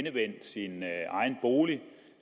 endevendt sin bolig og